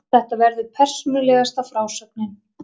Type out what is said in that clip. Þetta verður persónulegasta frásögnin.